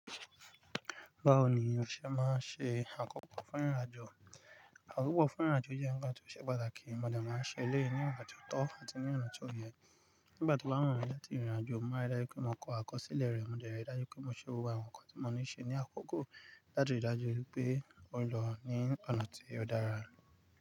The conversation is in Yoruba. Báwo ni o ṣe máa ń ṣe àkọ́kọ́ fún ìrìnàjò? Àkọ́kọ́ fún ìrìnàjò jẹ́ ńkan tó ṣe pàtàkì, mo dẹ̀ máa ṣe eléyìí ní ìgbà tí ó tó àti ní ọ̀nà tí ó yẹ. Nígbà tí ó bá wùmí láti rìrìnàjò, mo rí dájú pé mo kọ àkọsílẹ̀ rẹ̀, mo dẹ̀ rí dájú pé mo ṣe gbogbo àwọn nǹkan tí mo ní ṣe ní àkókò láti ríi dájú wípé mo ń lọ ní ọ̀nà tí ó dára.